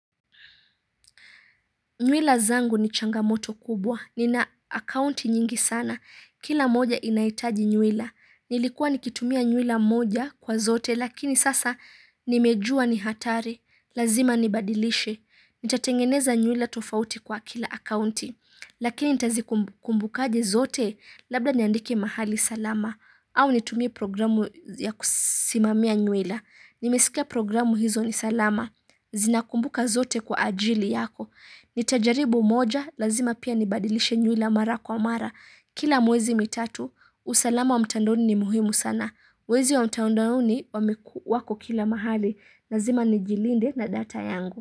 Nywila zangu ni changamoto kubwa, nina akaunti nyingi sana, kila moja inaitaji nywila. Nilikuwa nikitumia nywila moja kwa zote, lakini sasa nimejua ni hatari, lazima nibadilishe. Nitatengeneza nywila tofauti kwa kila akaunti, lakini nitazikumbuka aje zote, labda nyandike mahali salama, au nitumie programu ya kusimamia nywila. Nimesikia programu hizo ni salama, zinakumbuka zote kwa ajili yako. Nitajaribu moja, lazima pia nibadilishe nywila mara kwa mara. Kila mwezi mitatu, usalama wa mtandoni ni muhimu sana. Wezi wa mtandoni wameku wako kila mahali. Lazima nijilinde na data yangu.